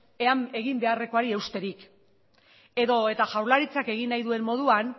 ea egin beharrekoari eusterik edo eta jaurlaritzak egin nahi duen moduan